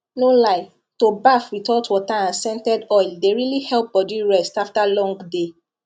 no lie to baff with hot water and scented oil dey really help body rest after long day